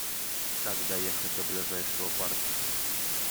как доехать до ближайшего парка